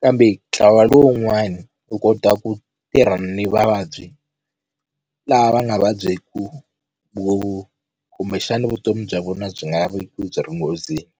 kambe ntlawa lowun'wani u kota ku tirha ni vavabyi lava nga vabyeku khumexana vutomi bya vona byi nga veki byi ri nghozini.